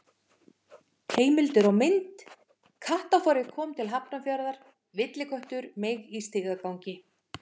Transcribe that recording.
Heimildir og mynd: Kattafárið komið til Hafnarfjarðar: Villiköttur meig í stigagangi.